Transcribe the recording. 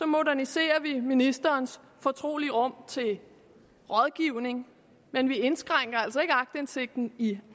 moderniserer vi ministerens fortrolige rum til rådgivning men vi indskrænker altså ikke aktindsigten i